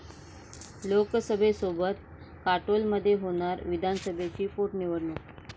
लोकसभेसोबत काटोलमध्ये होणार विधानसभेची पोटनिवडणूक